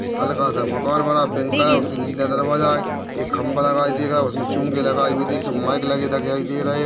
हल्कासा मकान बना pink colour का उसमे नीले दरवाजा है एक खंबा लगाई दे रहा है एक चुंदी लगाई हुई दिखी माइक लगे दिखाई दे रहे है।